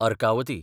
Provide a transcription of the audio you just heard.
Arkavati